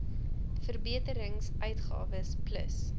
verbeterings uitgawes plus